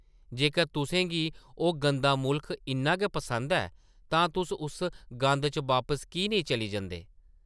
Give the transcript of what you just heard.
जेकर तुसें गी ओह् गंदा मुल्ख इन्ना गै पसंद ऐ तां तुस उस गंद च वापस की नेईं चली जंदे ?